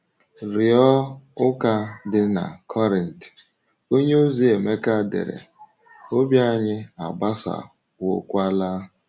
Rịọ ụka dị na Korint, onyeozi Emeka dere: “Obi anyị agbasawokwaala.”